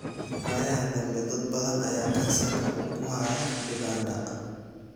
Waayahaa dambe, dad badan ayaa Kansarka uu ku haya Uganda.